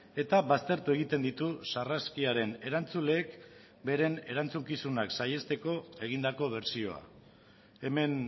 eta baztertu egiten ditu sarraskiaren erantzuleek beren erantzukizunak saihesteko egindako bertsioa hemen